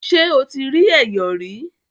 Ṣé o ti rí Ẹ̀yọ̀ rí?